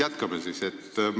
Jätkame siis.